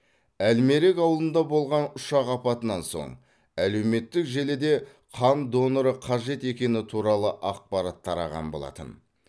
әлмерек ауылында болған ұшақ апатынан соң әлеуметтік желіде қан доноры қажет екені туралы ақпарат тараған болатын